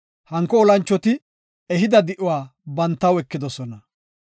Hanko olanchoti ehida di7uwa bantaw ekidosona.